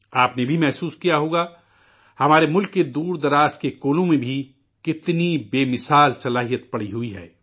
آپ نے بھی مشاہدہ کیا ہوگا، ہمارے ملک کے دور دراز کے علاقوں میں بھی، کتنی بے مثال صلاحیت موجود ہے